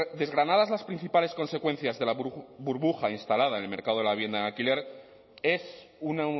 desgranadas las principales consecuencias de la burbuja instalada en el mercado de la vivienda en alquiler es un